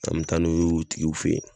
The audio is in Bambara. An mi taa n'u ye u tigiw fe yen